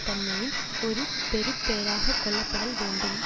தன்மையின் ஒரு பெறுபேறாக கொள்ளப்படல் வேண்டும்